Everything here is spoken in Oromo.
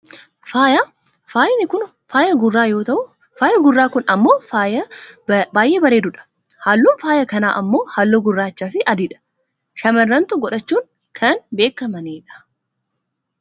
faaya , faayi kun faaya gurraa yoo ta'u, faayi gurraa kun ammoo faaya baayyee bareedu dha. halluun faaya kanaa ammoo halluu gurraacha fi adii dha. shamarrantu godhachuun kan beekkamani dha.